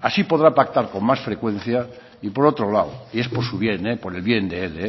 así podrá pactar con más frecuencia y por otro lado y es por su bien por el bien de él